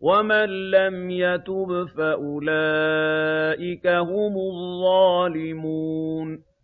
وَمَن لَّمْ يَتُبْ فَأُولَٰئِكَ هُمُ الظَّالِمُونَ